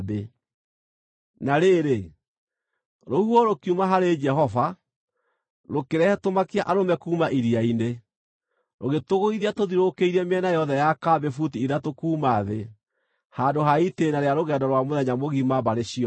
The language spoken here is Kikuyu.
Na rĩrĩ, rũhuho rũkiuma harĩ Jehova, rũkĩrehe tũmakia-arũme kuuma iria-inĩ. Rũgĩtũgũithia tũthiũrũrũkĩirie mĩena yothe ya kambĩ buti ithatũ kuuma thĩ, handũ ha itĩĩna rĩa rũgendo rwa mũthenya mũgima mbarĩ ciothe.